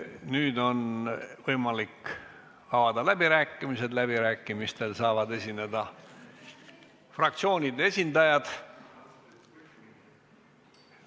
Nüüd on võimalik avada läbirääkimised, läbirääkimistel saavad esineda fraktsioonide esindajad.